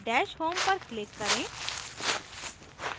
dash home पर click करें